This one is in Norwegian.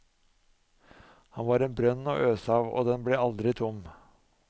Han var en brønn å øse av og den ble aldri tom.